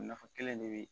Nafa kelen de be